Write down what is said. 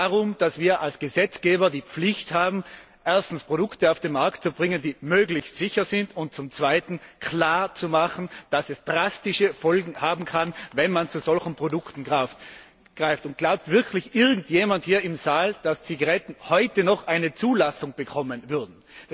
Aber es geht darum, dass wir als Gesetzgeber die Pflicht haben, erstens Produkte auf den Markt zu bringen, die möglichst sicher sind, und zum Zweiten klar zu machen, dass es drastische Folgen haben kann, wenn man zu solchen Produkten greift. Glaubt wirklich irgendjemand hier im Saal, dass Zigaretten heute noch eine Zulassung bekommen würden?